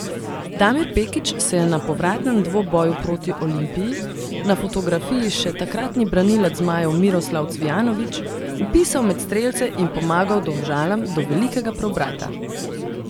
Damir Pekić se je na povratnem dvoboju proti Olimpiji, na fotografiji še takratni branilec zmajev Miroslav Cvijanović, vpisal med strelce in pomagal Domžalam do velikega preobrata.